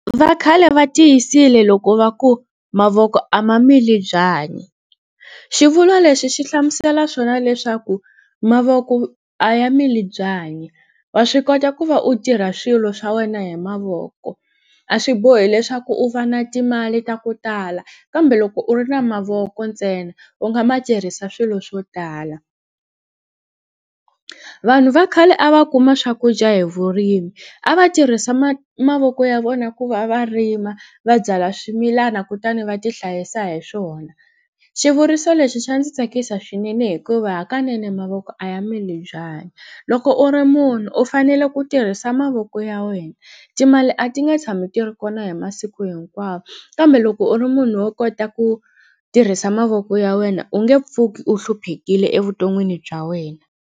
Va khale va tiyisile loko va ku mavoko a ma mili byanyi xivulwa lexi xi hlamusela swona leswaku mavoko a ya mili byanyi wa swi kota ku va u tirha swilo swa wena hi mavoko a swi bohi leswaku u va na timali ta ku tala kambe loko u ri na mavoko ntsena u nga ma tirhisa swilo swo tala vanhu va khale a va kuma swakudya hi vurimi a va tirhisa mavoko ya vona ku va va rima va byala swimilana kutani va ti hlayisa hi swona xivuriso lexi xa ndzi tsakisa swinene hikuva hakanene mavoko a ya mili byanyi loko u ri munhu u fanele ku tirhisa mavoko ya wena timali a ti nga tshami ti ri kona hi masiku hinkwawo kambe loko u ri munhu wo kota ku tirhisa mavoko ya wena u nge pfuki u hluphekile evuton'wini bya wena.